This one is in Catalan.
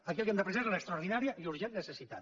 aquí el que hem d’apreciar és l’extraordinària i urgent necessitat